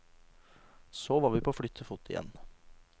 Så vi var på flyttefot igjen.